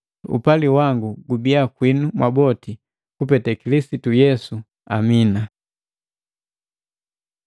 Upali wangu gubiya kwinu mwaboti kupete Kilisitu Yesu, Amina.